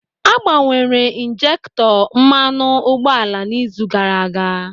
A gbanwere ịnjekutọ mmanụ ụgbọala n'izu gaara aga.